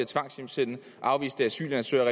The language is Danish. tvangshjemsende afviste asylansøgere